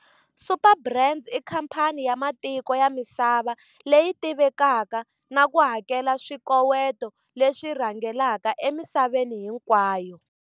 Superbrands i khamphani ya matiko ya misava leyi tivekaka na ku hakela swikoweto leswi rhangelaka emisaveni hinkwayo,